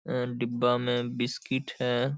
अम डिब्बा में बिस्किट है।